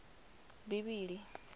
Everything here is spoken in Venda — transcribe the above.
bivhili